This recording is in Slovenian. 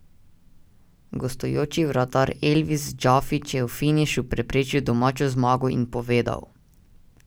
Gostujoči vratar Elvis Džafić je v finišu preprečil domačo zmago in povedal.